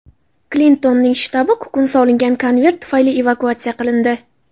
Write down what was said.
Klintonning shtabi kukun solingan konvert tufayli evakuatsiya qilindi.